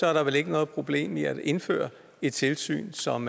er der vel ikke noget problem i at indføre et tilsyn som